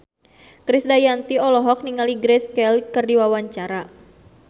Krisdayanti olohok ningali Grace Kelly keur diwawancara